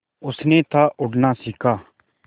उसने था उड़ना सिखा